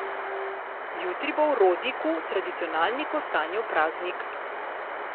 Jutri bo v Rodiku tradicionalni Kostanjev praznik.